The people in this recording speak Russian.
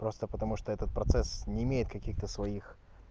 просто потому что этот процесс не имеет каких-то своих